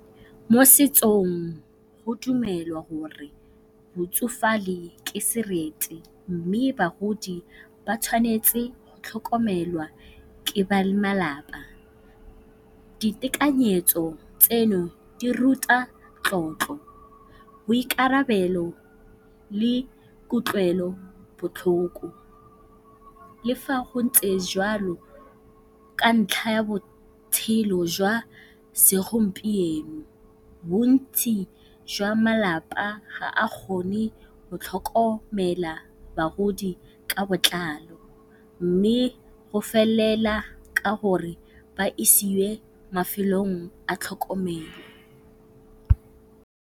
Mo setsong go dumelwa gore go tsofale ke serete mme bagodi ba tshwanetse go tlhokomelwa ke ba malapa. Ditekanyetso tse di ruta tlotlo, boikarabelo le kutlwelobotlhoko. Le fa go ntse jalo ka ntlha ya botshelo jwa segompieno bontsi jwa malapa ga a kgone go tlhokomela bagodi ka botlalo mme go felela ka gore ba isiwe mafelong a tlhokomelo.